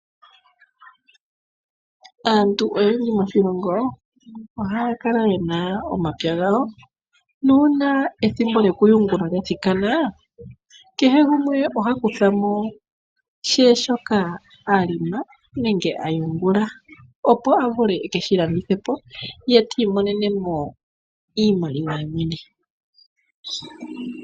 Aantu oyendji moshilongo ohaya kala yena omapya gawo nuuna ethimbo lyoku yungula lya thikana kehe gumwe oha kuthamo she shoka a lima nenge a yungula opo a vule e keshi landithepo ye tiimonenemo iimaliwa ye mwene.